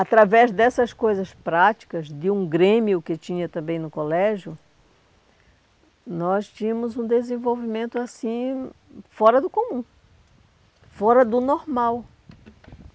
Através dessas coisas práticas, de um grêmio que tinha também no colégio, nós tínhamos um desenvolvimento assim fora do comum, fora do normal.